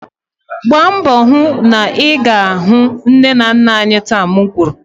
gbaa mbọ hụ na ị ga-ahụ nne na nna anyị taa. M kwuru!